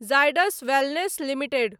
Zydus wellness limited